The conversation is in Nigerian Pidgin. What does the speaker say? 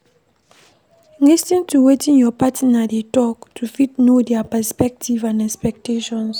Lis ten to wetin your partner dey talk to fit know their perspective and expectations